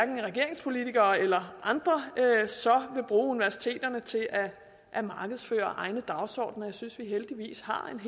regeringspolitikere eller andre vil bruge universiteterne til at at markedsføre egne dagsordener jeg synes at vi heldigvis har